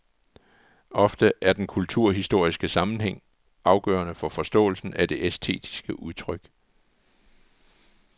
Ofte er den kulturhistoriske sammenhæng afgørende for forståelsen af det æstetiske udtryk.